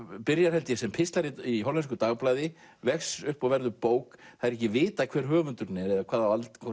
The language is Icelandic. byrjar sem pistlar í hollensku dagblaði vex upp og verður bók það er ekki vitað hver höfundurinn er eða hvort